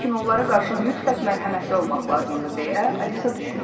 Lakin onlara qarşı mütləq mərhəmətli olmaq lazımdır, deyə Alisa düşündü.